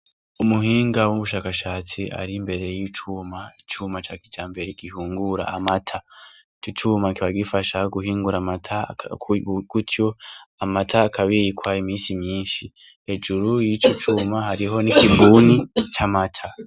Umuhinga w'umushakashatsi ari imbere y'icuma icuma ca kica mbere igihungura amata igicuma kiba gifashaho guhingura amata kutyo amata akabirikwa imisi myinshi ejuru y'ico cuma hariho ni kibuni ca mata.